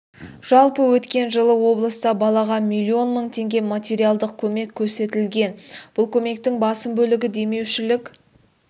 жалпы өткен жылы облыста балаға миллион мың теңге материалдық көмек көрсетілген бұл көмектің басым бөлігі демеушілік